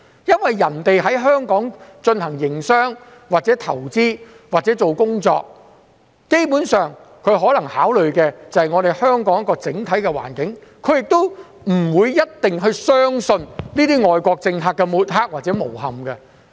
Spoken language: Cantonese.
因為，別人在香港進行營商、投資或工作，基本上，它們可能只是考慮香港的整體環境，亦不一定會相信外國政客的抹黑或誣衊。